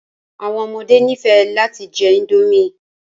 Àwọn ọmọde nifẹ lati jẹ indomie